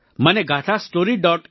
મને gaathastory